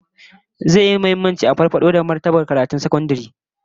Zai yi muhimmanci a farfado da martabar karatun sakandare ta hanyar kula da ma'aikata da dalibai